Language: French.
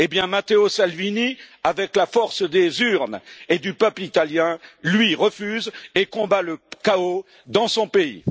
Matteo Salvini, avec la force des urnes et du peuple italien, lui, refuse et combat le chaos dans son pays.